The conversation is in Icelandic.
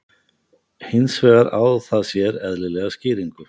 Hins vegar á það sér eðlilega skýringu.